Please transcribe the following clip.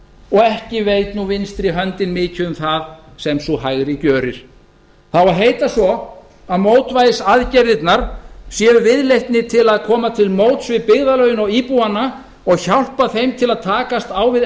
og ekki veit nú vinstri höndin mikið af því sem hin hægri gjörir það á að heita svo að mótvægisaðgerðirnar séu viðleitni til að koma til móts við byggðarlögin og íbúana og hjálpa þeim til að takast á við